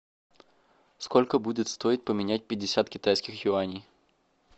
сколько будет стоить поменять пятьдесят китайских юаней